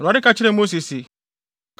Awurade ka kyerɛɛ Mose se,